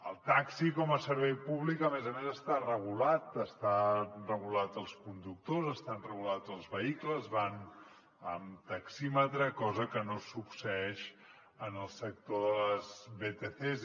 el taxi com a servei públic a més a més està regulat estan regulats els conductors estan regulats els vehicles van amb taxímetre cosa que no succeeix en el sector de les vtcs